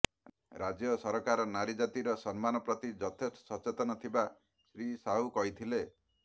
ରାଜ୍ୟ ସରକାର ନାରୀ ଜାତିର ସମ୍ମାନ ପ୍ରତି ଯଥେଷ୍ଟ ସଚେତନ ଥିବା ଶ୍ରୀ ସାହୁ କହିଥିଲେ